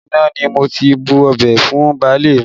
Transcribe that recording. Orí iná ni mo ti bu ọbẹ̀ fún baálé mi